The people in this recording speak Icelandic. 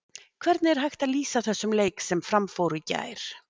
Hvernig er hægt að lýsa þessum leik sem fram fór í gær?